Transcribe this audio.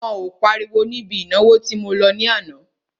Wọn ò páriwo níbi ìnáwó tí mo lọ ní àná.